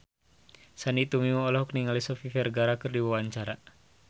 Sandy Tumiwa olohok ningali Sofia Vergara keur diwawancara